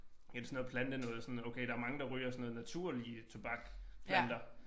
Et sådan noget plantenoget sådan okay der mange der ryger sådan noget naturlige tobakplanter